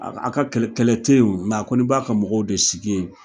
A ka a ka kɛlɛ te ye o a kɔni b'a ka mɔgɔw de sigi ye